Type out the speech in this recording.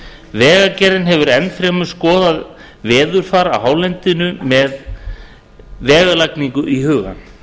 vegagerðin hefur enn fremur skoðað veðurfar á hálendinu með vegalagning í huga